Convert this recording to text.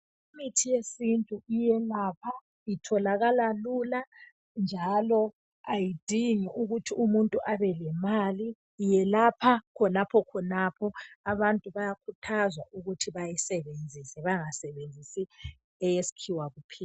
Imithi yesintu iyelapha itholakala lula njalo ayidingi ukuthi umuntu abe lemali iyelapha khonapho khonapho abantu bayakhuthazwa ukuthi bayisebenzise bangasebenzisi eyesikhiwa kuphela.